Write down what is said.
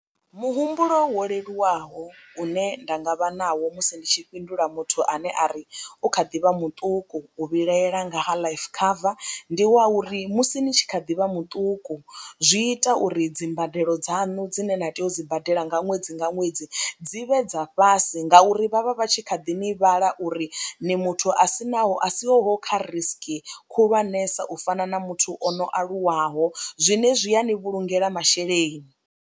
Muhumbulo wo leluwaho une nda nga vha nawo musi ndi tshi fhindula muthu ane a ri u kha ḓivha muṱuku u vhilahela nga ha life cover, ndi wa uri musi ni tshi kha ḓi vha muṱuku zwi ita uri dzimbadelo dzanu dzine na tea u dzi badela nga ṅwedzi nga ṅwedzi dzi vhe dza fhasi ngauri vhavha vha tshi kha ḓi ni vhala uri ni muthu a si naho a siho kha risiki khulwanesa u fana na muthu o no aluwaho zwenezwi ya ni vhulungela masheleni.